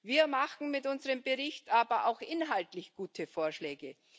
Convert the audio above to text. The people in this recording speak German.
Wir machen mit unserem Bericht aber auch inhaltlich gute Vorschläge.